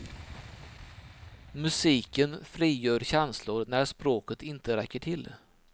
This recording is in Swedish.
Musiken frigör känslor när språket inte räcker till.